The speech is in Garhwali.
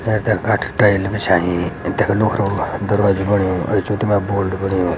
एथर कट टाइल बिछांईं ए देखा लोख्रों दरवाजा भी बन्यु जु तुमर बोल्ड बन्यु --